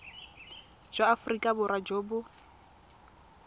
jwa aforika borwa jo bo